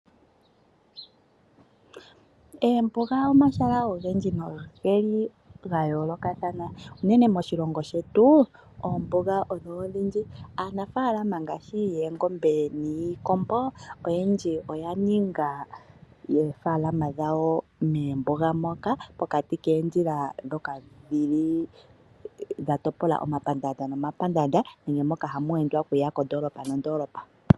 Eembuga omahala ogendji nogeli ga yoolokathana unene moshilongo shetu oombuga odho odhindji. Aanafaalama ngaashi yoongombe niikombo oyendji oyaninga oofalalama dhawo moombuga moka ,pokati koondjila ndhoka dhili dha topola omapandaanda nomapandaanda ano moka hamu endwa okuya kondoolopa